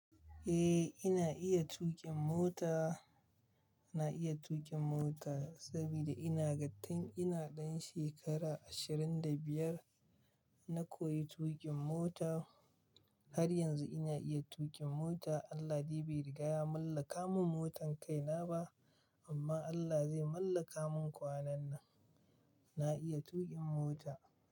Eh, ina iya tuƙin mota. Ina iya tuƙin mota saboda ina ga tun ina ɗan shekara ashirin da biyar. Na koyi tuƙin mota har yanzu ina iya tuƙin mota. Allah dai bai riga ya mallaka mun motan kaina ba, amma Allah zai mallaka mun kwanan nan. Na iya tuƙin mota.